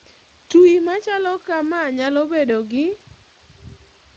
Twi machalo kamaa nyalo bedo gi